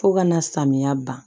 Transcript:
Fo ka na samiya ban